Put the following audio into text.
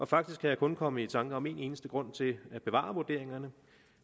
faktisk kan jeg kun komme i tanker om en eneste grund til at bevare vurderingerne